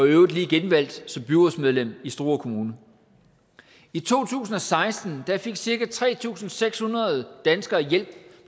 i øvrigt lige genvalgt som byrådsmedlem i struer kommune i to tusind og seksten fik cirka tre tusind seks hundrede danskere hjælp